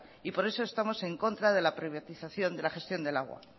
y por eso estamos en contra de la privatización de la gestión del agua